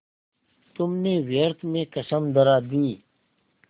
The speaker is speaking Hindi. तुमने व्यर्थ में कसम धरा दी